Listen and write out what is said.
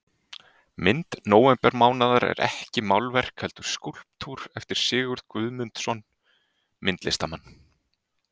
Mynd nóvembermánaðar er ekki málverk heldur skúlptúr eftir Sigurð Guðmundsson myndlistarmann.